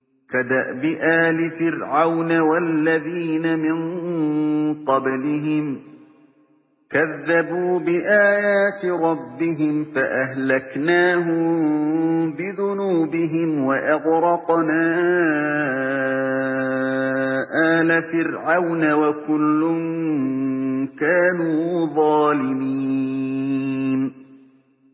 كَدَأْبِ آلِ فِرْعَوْنَ ۙ وَالَّذِينَ مِن قَبْلِهِمْ ۚ كَذَّبُوا بِآيَاتِ رَبِّهِمْ فَأَهْلَكْنَاهُم بِذُنُوبِهِمْ وَأَغْرَقْنَا آلَ فِرْعَوْنَ ۚ وَكُلٌّ كَانُوا ظَالِمِينَ